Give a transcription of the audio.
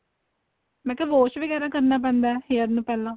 ਮੈਂ ਕਿਹਾ wash ਵਗੈਰਾ ਕਰਨਾ ਪੈਂਦਾ hair ਨੂੰ ਪਹਿਲਾਂ